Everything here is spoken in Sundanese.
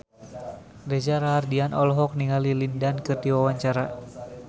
Reza Rahardian olohok ningali Lin Dan keur diwawancara